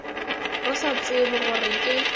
re sa tsebe gore ke